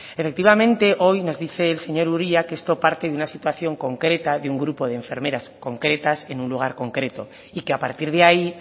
efectivamente hoy nos dice el señor uria que esto parte de una situación concreta de un grupo de enfermeras concretas en un lugar concreto y que a partir de ahí